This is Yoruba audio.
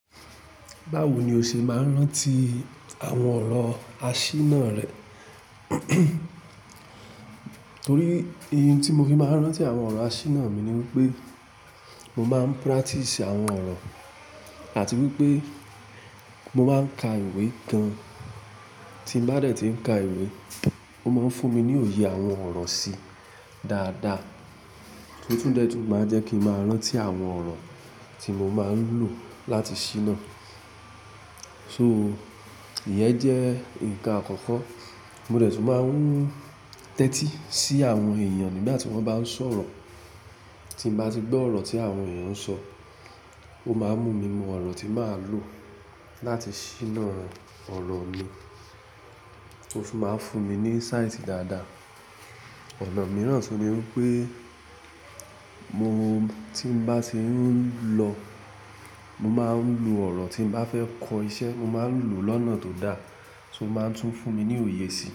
Báwo ni o ṣe máa ń rántí àwọn ọ̀rọ̀ àṣíná rẹ? Torí, in tí mo fi máa ń rántí àwọn ọ̀rọ̀ àṣíná mi ni wípé mo máa ń practice àwọn ọ̀rọ̀ àti wípé mo máa ń ka ìwé kan. Tí n bá dẹ̀ tí ń ka ìwé, ó máa ń fún mi ní òye àwọn ọ̀rọ̀ sí dáadáa, ó tún dẹ́ tun máa jẹ́ kín máa rántí àwọn ọ̀rọ̀ tí mo máa ń lò láti ṣíná. So, ìyẹn jẹ́ ǹkan àkọ́kọ́. Mo dẹ̀ tún máa ń tẹ́tí sí àwọn èèyàn nígbà tí wọ́n bá ń sọ̀rọ̀. Tí n bá ti gbọ́ ọ̀rọ̀ tí àwọn èèyàn ń sọ, ó máa ń mú mi mọ ọ̀rọ̀ tí máa lò láti ṣíná ọ̀rọ̀ mi. Ó tún máa ń fún mi ní signs dáadáa. Ọ̀nà mìíràn tún ni wípé mo, tí n bá tí ń lọ, mo máa ń lo ọ̀rọ̀ tí n bá fẹ́ kọ iṣẹ́, mo máa ń lò lọ́nà tó dá, so máa ń tún fún mi ní òye síi.